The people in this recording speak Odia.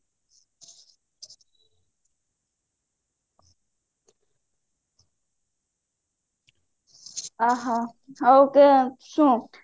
ଅ ହ ଆଉ କଣ ଶୁଣୁ